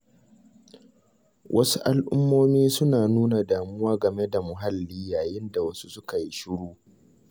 Wasu al'ummomi suna nuna damuwa game da muhalli yayin da wasu suka yi shiru.